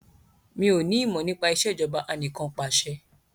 Mí ò ní ìmọ̀ nípa Ìṣèjọba Anìkanpàṣẹ